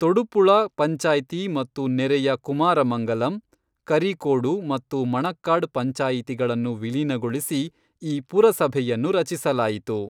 ತೊಡುಪುಳ ಪಂಚಾಯ್ತಿ ಮತ್ತು ನೆರೆಯ ಕುಮಾರಮಂಗಲಂ, ಕರಿಕೋಡು ಮತ್ತು ಮಣಕ್ಕಾಡ್ ಪಂಚಾಯತಿಗಳನ್ನು ವಿಲೀನಗೊಳಿಸಿ ಈ ಪುರಸಭೆಯನ್ನು ರಚಿಸಲಾಯಿತು.